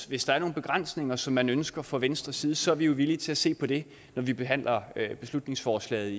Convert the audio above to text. hvis der er nogle begrænsninger som man ønsker fra venstres side så er vi villige til at se på det når vi behandler beslutningsforslaget